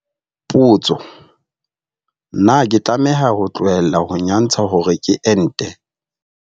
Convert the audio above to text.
Potso - Na ke tlameha ho tlohela ho nyantsha hore ke ente?